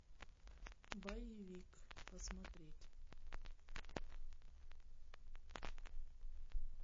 боевик посмотреть